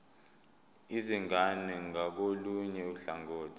izingane ngakolunye uhlangothi